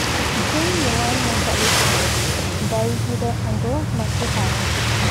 Thĩinĩ wa nyũmba icio ndaiguire andũ makĩhaya